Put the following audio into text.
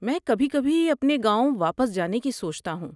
میں کبھی کبھی اپنے گاؤں واپس جانے کی سوچتا ہوں۔